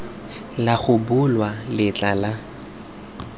la go bulwa letlha la